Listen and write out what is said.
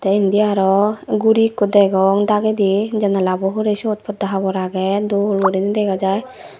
te indi aro guri ikko degong dagedi janalabo hurey siyot podda habor agey dol guri degajai.